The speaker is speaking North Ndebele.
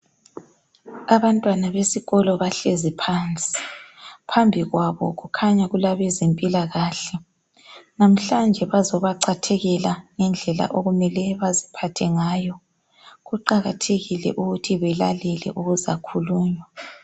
Abantwana besikolo bahlezi phansi. Phambi kwabo kukhanya kulabezempilakahle. Namhlanje bazoba cathekela ngendlela okumele baziphathe ngayo. Kuqakathekile ukuthi belalele okuzakhulunywa.